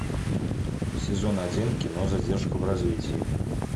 сезон один кино задержка в развитии